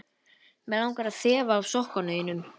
Mig langar að þefa af sokkum þínum.